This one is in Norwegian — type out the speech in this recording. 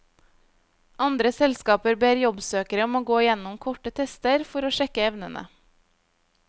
Andre selskaper ber jobbsøkere om å gå gjennom korte tester for å sjekke evnene.